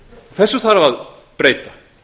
þessu þarf að breyta